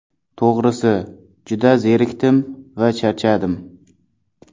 To‘g‘risi, juda zerikdim va charchadim.